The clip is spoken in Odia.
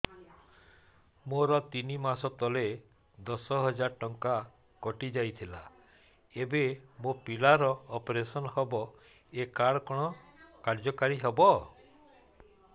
ମୋର ତିନି ମାସ ତଳେ ଦଶ ହଜାର ଟଙ୍କା କଟି ଯାଇଥିଲା ଏବେ ମୋ ପିଲା ର ଅପେରସନ ହବ ଏ କାର୍ଡ କଣ କାର୍ଯ୍ୟ କାରି ହବ